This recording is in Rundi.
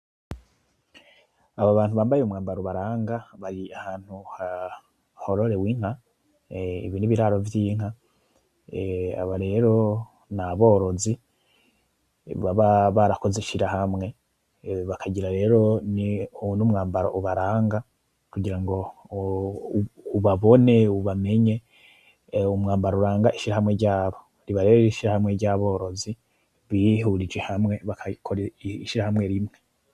Aba bantu bambaye umwambaro ubaranga bari ahantu hororerwa inka, ibi ni ibiraro vy’inka. Aba rero ni aborozi baba barakoze ishirahamwe bakagira n’umwambaro ubaranga kugira ngo ubabone ubamenye. umwambaro uranga ishirahamwe ryabo, uba uriho ishirahamwe ry’aborozi bihurije hamwe bagakora ishirahamwe rimwe.